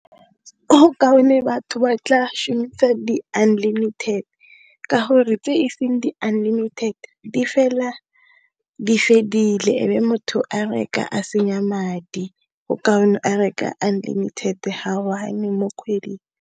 Go kaone batho ba tla shomisa di unlimited ka gore tse e seng di fela di fedile ebe motho a reka a senya madi go kaone a reka unlimited ga one mo kgweding.